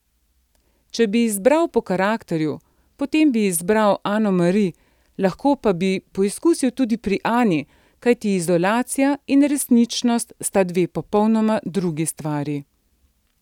Če bi izbiral po karakterju, potem bi izbral Ano Mari, lahko pa bi poizkusil tudi pri Ani, kajti izolacija in resničnost sta dve popolnoma drugi stvari.